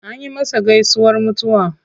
Anyi masa gaisuwar mutuwa.